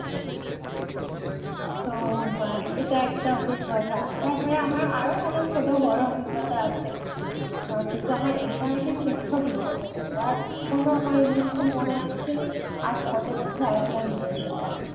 তো এটা একটা অভিজ্ঞতা তারপরে আমার আরও অনেক ছোট বড় অভিজ্ঞতা আছে কিন্তু আমার এটা আর কি শ্রেষ্ঠ অভিজ্ঞতা ছিল আর এখনো আমার এই জিনিস তা মনে আছে আজ কত বছর আগেকার জিনিস এটা